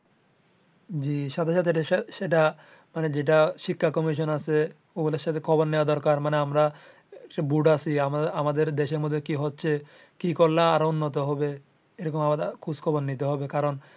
জি সাথে সাথে সেটা মানে যেটা শিক্ষা কমিশন আছে ও গুলার সাথে খবর নেয়া দরকার মানে আমরা আছি আমাদের দেশের মধ্যে কি হচ্ছে কী করলে আরও উন্নত হবে এরকম আরও খোঁজ খবর নিতে হবে কারণ